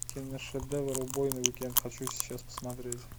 киношедевр убойный уикенд хочу сейчас посмотреть